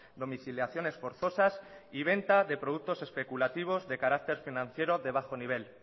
domiciliaciones forzosas y venta de productos especulativos de carácter financiero de bajo nivel